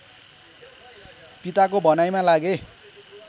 पिताको भनाईमा लागे